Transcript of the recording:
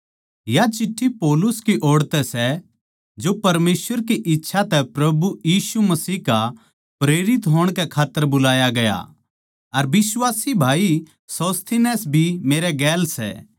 या चिट्ठी पौलुस की ओड़ तै सै जो परमेसवर की इच्छा तै प्रभु यीशु मसीह का प्रेरित होण कै खात्तर बुलाया गया अर बिश्वासी भाई सोस्थिनेस भी मेरे गैल सै